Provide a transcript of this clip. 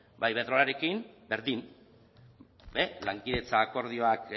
ba iberdrolarekin berdin lankidetza akordioak